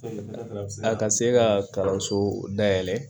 A ka se ka kalanso dayɛlɛ